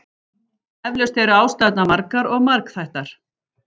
Eflaust eru ástæðurnar margar og margþættar.